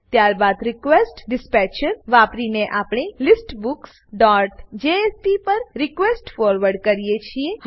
ત્યારબાદ રિક્વેસ્ટડિસ્પેચર વાપરીને આપણે listbooksજેએસપી પર રિક્વેસ્ટ ફોરવર્ડ કરીએ છીએ